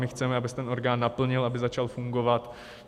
My chceme, aby se ten orgán naplnil, aby začal fungovat.